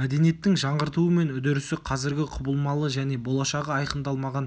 мәдениеттің жаңғыртуы мен үдерісі қазіргі құбылмалы және болашағы айқындалмаған